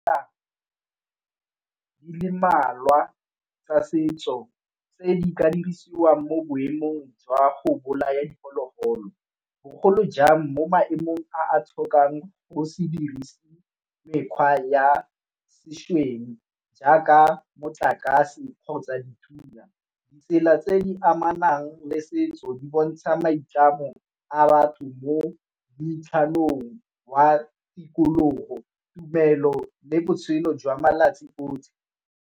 Di le mmalwa tsa setso tse di ka dirisiwang mo boemong jwa go bolaya diphologolo, bogolo jang mo maemong a a tlhokang go se dirise mekgwa ya sešweng jaaka motlakase kgotsa dithunya. Ditsela tse di amanang le setso di bontsha maitlamo a batho mo wa tikologo tumelo le botshelo jwa malatsi otlhe.